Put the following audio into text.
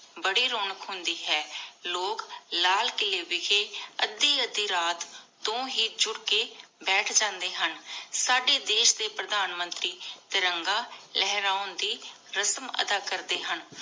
ਬੜੀ ਰੋਨਾਕ਼ ਹੁੰਦੀ ਹੈ ਲੋਗ ਲਾਲ ਕੀਲੀ ਵਿਸ਼ੇ ਅਧਿ ਅਧਿ ਰਾਤ ਤੋਂ ਹੀ ਜੁੜ ਕੇ ਬੈਠ ਜਾਂਦੇ ਹਨ। ਸਾਡੇ ਦੇਸ਼ ਦੇ ਪਰਧਾਨ ਮੰਤਰੀ ਤਿਰੰਗਾ ਲਹਿਰਾਉਂਦੀ ਰਸਮ ਅਦਾ ਕਰਦੀ ਹਨ।